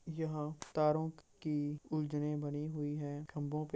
यहाँ तारो की उलझने बनी हुई हैं खम्भों पे |